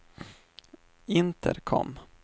intercom